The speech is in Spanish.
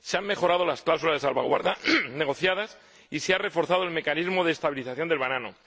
Se han mejorado las cláusulas de salvaguardia negociadas y se ha reforzado el mecanismo de estabilización del banano.